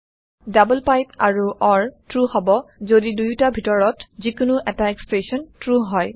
double pipe আৰু or true হব যদি দুয়োটা ভিতৰত যিকোনো এটা এক্সপ্ৰেচন ট্ৰু হয়